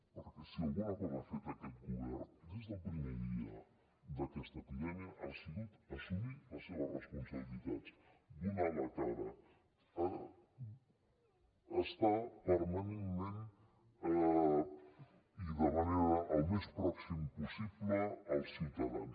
perquè si alguna cosa ha fet aquest govern des del primer dia d’aquesta epidèmia ha sigut assumir les seves responsabilitats donar la cara estar permanentment i de la manera més pròxima possible amb els ciutadans